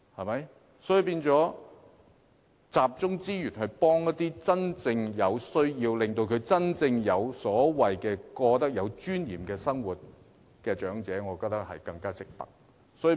因此，集中資源幫助真正有需要的人，讓長者過真正有尊嚴的生活，我認為更值得考慮。